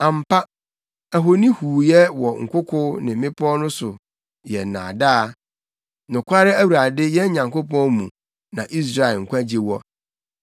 Ampa, ahoni huuyɛ wɔ nkoko ne mmepɔw so no yɛ nnaadaa; nokware Awurade yɛn Nyankopɔn mu na Israel nkwagye wɔ.